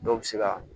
Dɔw bɛ se ka